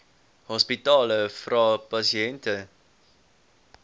hospitale vra pasiënte